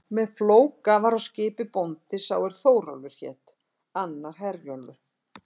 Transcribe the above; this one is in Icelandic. Með Flóka var á skipi bóndi sá er Þórólfur hét, annar Herjólfur.